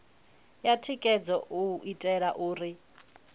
ya thikhedzo u itela uri